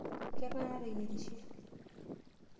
Keng'ae nateyierishe?